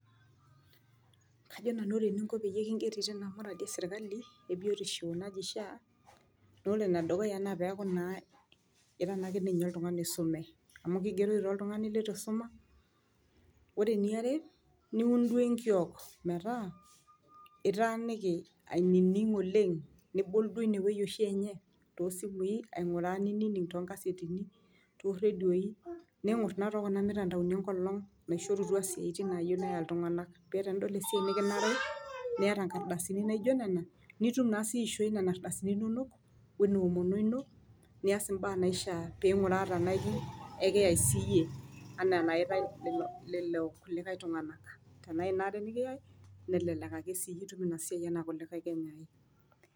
Kajo nanu ore eniko pee kingeri tina muradi e sirkali ebiotisho naji sha naa ore ene dukuya naa ira naa ke ninye oltungani oisume ,amu kigeroyu naa oltungani litu isuma. Ore eniare , niun duoo enkiok metaa itaaniki ainining oleng nibol duo ine wueji oshi enye toosimui ainguraa nining toonkasetini toredio, ningor naa too kuna mutandaoni ena olong naishorutua isiatin peya iltunganak. Amu tenidol esiai nekinare niata inkardasini naijo nena , nitum naa sii aishooi nena ardasini inonok weno omono ino nias imbaa naishaa peinguraa tenaa ekiyay siiyie, anaa enaitae lelo kulikae tunganak